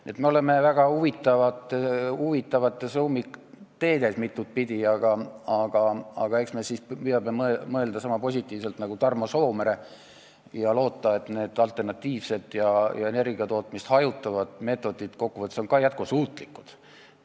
Nii et me oleme mitut pidi väga huvitavates ummikteedes, aga eks me püüame mõelda niisama positiivselt nagu Tarmo Soomere ja loota, et need alternatiivsed ja energiatootmist hajutavad meetodid on kokkuvõttes jätkusuutlikud.